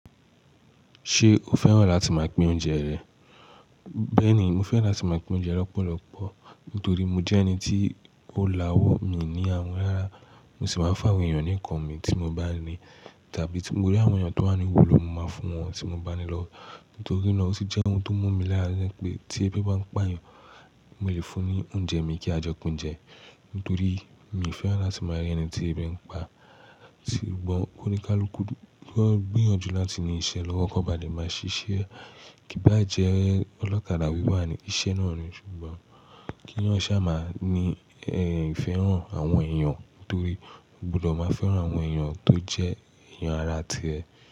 Ṣé o fẹ́ràn láti máa pín oúnjẹ rẹ̀? Bẹ́ẹ̀ni, mo fẹ́ràn láti máa pín oúnjẹ lọ́pọ̀lọpọ̀. Nítorí mo jẹ́ ẹni tí ó la wọ́ mi ní àwun rará, mo sì máa ń fáwé èèyàn nìkan mi tí mo bá ní tàbí tí mo rí àwọn èèyàn tó wà níhu lo máa fún wọn tí mo bá ni lọ́. Nítorí náà ó sì jẹ́ ohun tó mú mi lára pé tí ẹbí bá ń pà yàn, mo lè fún ní oúnjẹ mi kí á jo pin je nítorí mi fẹ́ràn láti máa rí ẹni tí ẹbí ń pa, ṣùgbọ́n ónikalukú gbíyànjú láti ní iṣẹ́ lọ́wọ́ kò bá le á-má-ṣiṣẹ́. Kí bá jẹ́ ọlọ́kadà wíwà ni iṣẹ́ náà ni ṣùgbọ́n kí wọn ṣá má ní ẹ ìfẹ́ràn àwọn èèyàn nítorí o gbọdọ̀ máa fẹ́ràn àwọn èèyàn tó jẹ́ èèyàn ará tí ẹ.